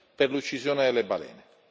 per l'uccisione delle balene.